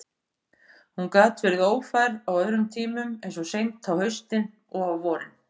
Hún gat verið ófær á öðrum tímum, eins og seint á haustin og á vorin.